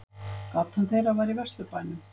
Gatan þeirra var í Vesturbænum.